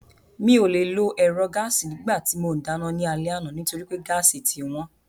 Mi ò le lo ẹ̀rọ gáàsì nígbà tí mò ń dáná ní alẹ́ àná nítorí pé gáàsì ti wọ́n